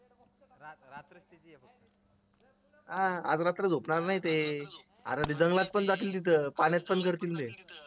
हा आज रात्र झोपणार नाही ते अर जंगलात पण जातील तिथं पाण्यात पण